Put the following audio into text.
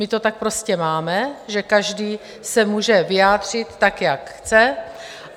My to tak prostě máme, že každý se může vyjádřit tak, jak chce.